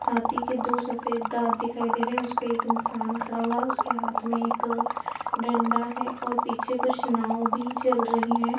हाँथी के दो सफेद दाँत दिखाई दे रहें हैं उसपे एक इंसान खड़ा हुआ है उसके हाथ में एक डंडा है और पीछे कुछ नाव भी चल रहीं हैं ।